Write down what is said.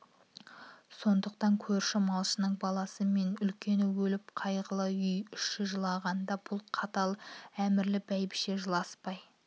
сондықтан көрші малшының баласы мен үлкені өліп қайғылы үй іші жылағанда бұл қатал әмірлі бәйбіше жыласпай